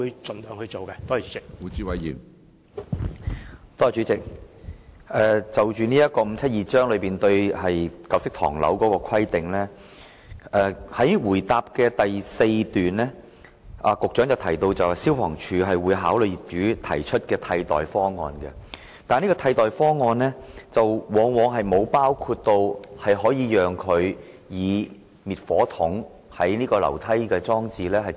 主席，就香港法例第572章對舊式唐樓的規定，在主體答覆第四段中，局長提到消防處會考慮業主提出的替代方案，但有關的替代方案往往並無包括讓業主以滅火筒代替樓梯消防喉轆裝置的方案。